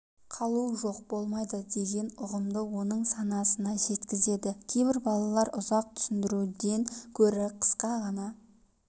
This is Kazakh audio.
қалу жоқ болмайды деген ұғымды оның санасына жеткізеді кейбір балалар ұзақ түсіндіруден гөрі қысқа ғана